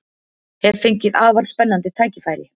Hef fengið afar spennandi tækifæri